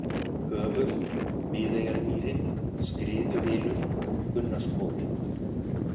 Höfuð, Miðeyjarmýri, Skriðuhylur, Gunnarskofi